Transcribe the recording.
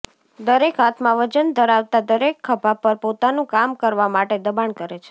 દરેક હાથમાં વજન ધરાવતા દરેક ખભા પર પોતાનું કામ કરવા માટે દબાણ કરે છે